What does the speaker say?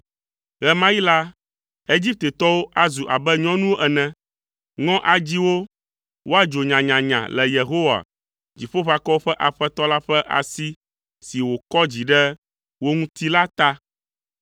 Ɣe ma ɣi la, Egiptetɔwo azu abe nyɔnuwo ene. Ŋɔ adzi wo woadzo nyanyanya le Yehowa, Dziƒoʋakɔwo ƒe Aƒetɔ la ƒe asi si wòkɔ dzi ɖe wo ŋuti la ta.